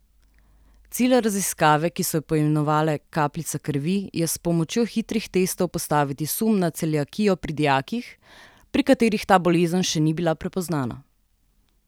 Cilj raziskave, ki so jo poimenovali Kapljica krvi, je s pomočjo hitrih testov postaviti sum na celiakijo pri dijakih, pri katerih ta bolezen še ni bila prepoznana.